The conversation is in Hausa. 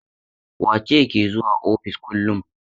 Wace ce ke zuwa ofis kullum?